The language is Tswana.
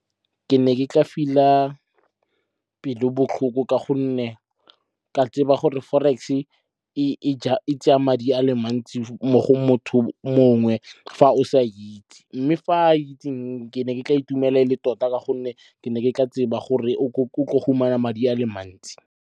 Ke ne ke tla feel-a pelo botlhoko ka gonne ka tseba gore forex-e e tsaya madi a le mantsi mo go motho mongwe fa o sa itse. Mme fa a itseng ke ne ke tla itumela ele tota ka gonne ke ne ke tla tseba gore o tlo fumana madi a le mantsi.